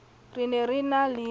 re ne re na le